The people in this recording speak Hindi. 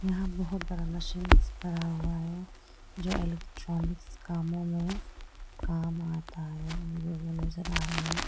यहां बहुत बड़ा मशीन खड़ा हुआ है जो इलेक्ट्रॉनिक्स कामों में काम आता है मुझे नजर आ रहा है।